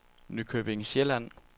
Nykøbing Sjælland